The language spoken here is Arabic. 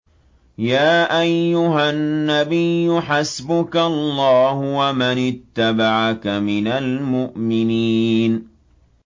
يَا أَيُّهَا النَّبِيُّ حَسْبُكَ اللَّهُ وَمَنِ اتَّبَعَكَ مِنَ الْمُؤْمِنِينَ